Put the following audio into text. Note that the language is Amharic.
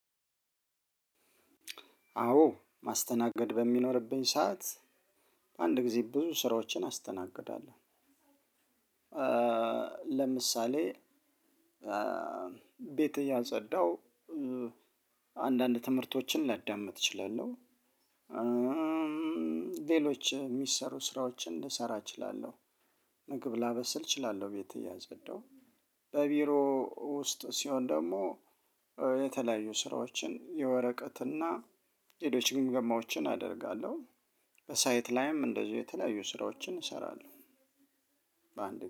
አዎ። ማስተናገድ በሚኖርብኝ ሰዓት በአንድ ጊዜ ብዙ ስራዎችን አስተናግዳለሁ። ለምሳሌ ቤት እያጸዳው አንዳንድ ትምህርቶችን ላዳምጥ እችላለሁ። ሌሎች የሚሰሩ ስራዎችን ልሰራ እችላለሁ። ምግብ ላበስል እችላለሁ ቤት እያፀዳው። በቢሮ ውስጥ ሲሆን ደግሞ የተለያዩ ስራዎችን የወረቀትና ሌሎች ግምገማዎችን አደርጋለሁ። በሳይት ላይም እንደዚህ የተለያዩ ስራዎችን እሰራለሁ። በአንድ